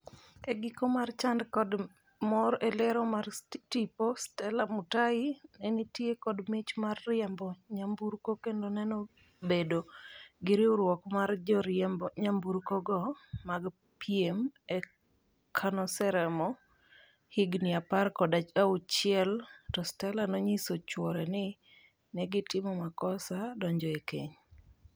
E giko mar chand kod mor e lero mar tipo, Stella Mutahi nenitie kod mich mar riembo nyamburko kendo nenobedo gi riwruok mar joriemb nyamburkogo mag piem,e kanoseromo higni apar kod achiel to Stella nonyiso chuore ni negitimo makosa donjo e keny.